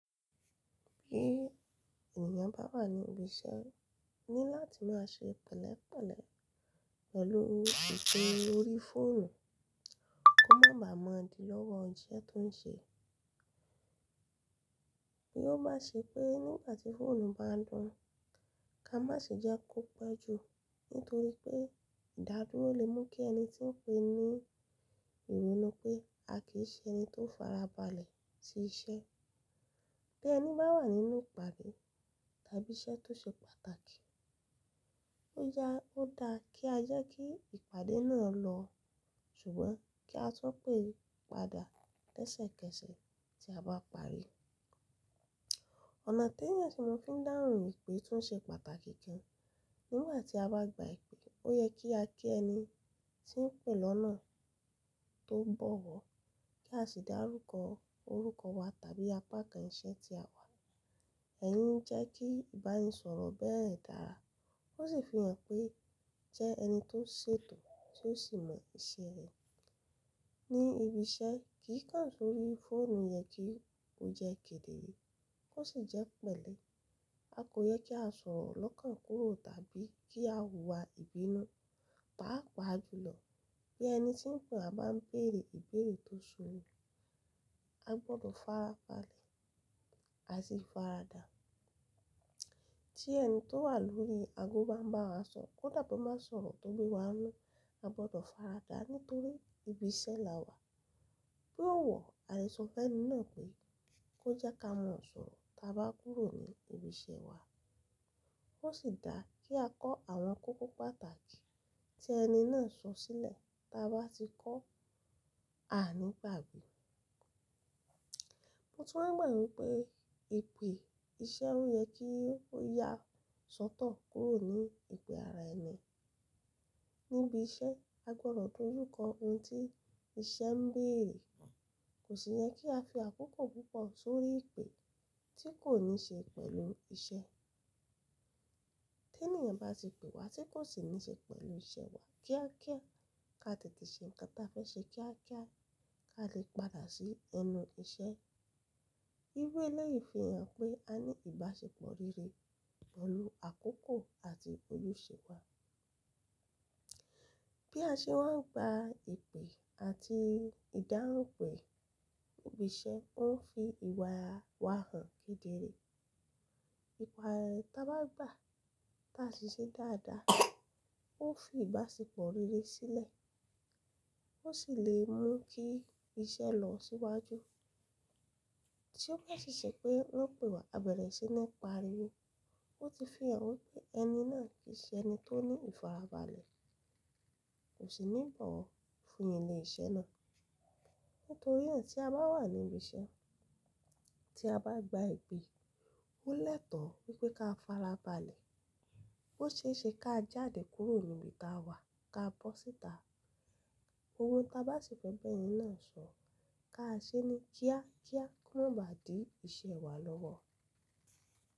Bí ènìyàn bá wà ní ibi iṣẹ́ ní láti má ṣe pẹ̀lẹ́pẹ̀lẹ́ pẹ̀lú ìpè orí fóònù kó má baà bà mọ́ di lọ́wọ́ iṣẹ́ tó ń ṣe. Bí ó bá ṣe pé nígbàtí fóònù bá ń dún, ká má ṣe jẹ́ kó pẹ́ jù nítorí pé ìdádúró lè mú kí ẹni tí ń pè ní ìwé ni pé a kì í ṣe ẹni tó farabalẹ̀ sí iṣẹ́. Bí ẹni bá wà nínú ìpàdé tàbí iṣẹ́ tó ṣe pàtàkì, ó ya ó dá kí a jẹ́ kí ìpàdé náà lọ ṣùgbọ́n kí a tún pè padà tẹ́sẹ̀kẹ́sẹ̀ tí a bá parí. Ọ̀nà tí ènìyàn tun ma fi ń dáhùn ìpè tó ṣe pàtàkì gan, nígbà tí a bá gba ìpè ó yẹ kí a kí ẹni tí ń pè lọ́nà tó bọ̀wọ̀ kí a sì dá rúkọ orúkọ wa tàbí apá kan iṣẹ́ tí a wà. Ẹ̀yi ń jẹ́ kí ìbáraẹnisọ̀rọ̀ bẹ́ẹ̀ dára ó sì fi hàn pé jẹ́ ẹni tó ṣètò tí ó sì mọ iṣẹ́ rẹ̀. Ni ibi iṣẹ́ kì í kàn sórí fóònù yẹ kí ó jẹ́ kedere kó sì jẹ́ pẹ̀lẹ́. A kò yẹ kí a sọ̀rọ̀ lọ́kàn kúrò tàbí kí a hùwà ìbínú, pàápàá jùlọ bí ẹni tí ń pè a bá ń béèrè ìbéèrè tó sunu. A gbọdọ̀ farabalẹ̀, a sì faradà. Tí ẹni tó wà lórí ago bá ń bá wa sọ̀rọ̀ kódà bọ̀ bá sọ̀rọ̀ tó bí wa n'nu a gbọdọ̀ faradă nítorí ibi iṣẹ́ la wà. Bí ó wọ̀, àlé sọ fẹ́ni náà pé kó jẹ́ ká mọ sọ̀rọ̀ táa bá kúrò ní ibi iṣẹ́ wa. Ó sì dá kí a kọ́ àwọn kókó pàtàkì tí ẹni náà sọ sílẹ̀ táa bá ti kọ́, a ní gbàdgbé. Mo tún wa gbà wipé, ìpè iṣẹ́ ó yẹ kí ó ya sọ́tọ̀ kúrò ní ìpè ara ẹni. Níbi iṣẹ́ a gbọdọ̀ dojú kọ ohun tí iṣẹ́ ń béèrè. Kò sì yẹ kí a fi àkókò púpọ̀ sórí ìpè tí kò ní ṣe pẹ̀lú iṣẹ́. Tí ènìyàn bá ti pè wa tí kò sì ní ṣe pẹ̀lú iṣẹ́ wa kíákíá ká tètè ṣe nkan tí a fẹ́ ṣe kíákíá ká lè padà sí ẹnu iṣẹ́. Irú elẹ́yìi fi hàn pé a ní ìbáṣepọ̀ rere pẹ̀lú àkókò àti ojúṣe wa. Bí a ṣe wá ń gba ìpè àti ìdáhùn ipè ní ibi iṣẹ́ ó ń fi ìwà wa hàn kedere. Ìpè tí a bá gba táa sì ṣe dáadáa ó fi ìbáṣepọ̀ rere sílẹ̀ ó sì lè mú kí iṣẹ́ lọ síwájú. Tí ó bá si ṣe pé wọ́n pè wa abẹ̀rẹ̀ iṣẹ́ nii pariwo ó ti fi hàn wípé ẹni náà kì í ṣe ẹni tó ní ìfarabalẹ̀ kò sì ní ìbọ̀wọ̀ fún ẹni le iṣẹ́ náà. Nítorí náà tí a bá wà ní ibi iṣẹ́ tí a bá gba ìpè ó lẹ́tọ̀ọ́ wípé ká farabalẹ̀ bó ṣe é ṣe ká jáde kúrò níbi tí a wà ká bọ́ síta. Ohun ta bá ṣi fẹ b'ẹni náà sọ̀ ká ṣe ní kíákíá kó má ba à dí ìṣe wa lọ́wọ́.